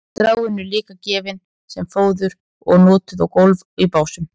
stráin eru líka gefin sem fóður og notuð á gólf í básum